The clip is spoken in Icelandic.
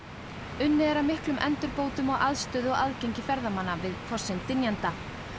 unnið er að miklum endurbótum á aðstöðu og aðgengi ferðamanna við fossinn dynjanda